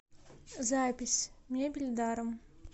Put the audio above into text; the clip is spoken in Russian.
запись мебель даром